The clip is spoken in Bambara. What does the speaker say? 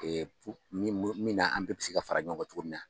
min min na an bɛɛ bɛ se ka fara ɲɔn kan cogo min na.